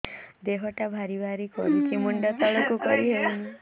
ଦେହଟା ଭାରି ଭାରି କରୁଛି ମୁଣ୍ଡ ତଳକୁ କରି ହେଉନି